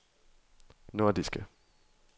nordiske